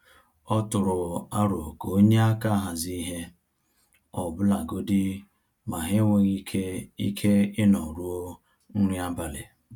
Ọ tụrụ aro ka o nye aka hazie ihe, ọbụlagodi ma ha enweghị ike ike ịnọ ruo nri abalị.